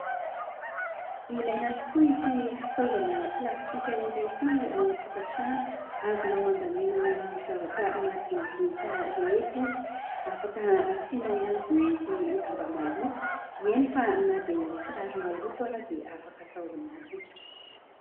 Ilaina tokoa ity fitaovana plastika iray ity ao antokatrano azonao andaminana ny zavatra madinidinika rehetra izy afaka asinao ihany koa izy lamba maloto eny fa na dia ny kiraro maloto ary dia afaka atao ao anatiny.